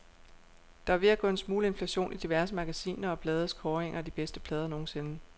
Der er ved at gå en smule inflation i diverse magasiner og blades kåringer af de bedste plader nogensinde.